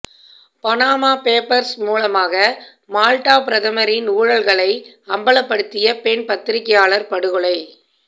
Panama papers மூலமாக Malta பிரதமரின் ஊழல்களை அம்பலப்படுத்திய பெண் பத்திரிகையாளர் படுகொலை